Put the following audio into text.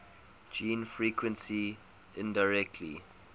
gene frequency indirectly